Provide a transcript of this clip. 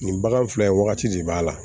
Nin bagan filɛ nin ye wagati de b'a la